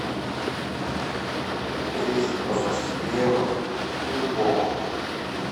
привезите пожалуйста хлеба любого